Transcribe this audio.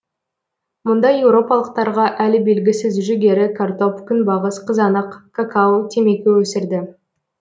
мұнда еуропалықтарға әлі белгісіз жүгері картоп күнбағыс қызанақ какао темекі өсірді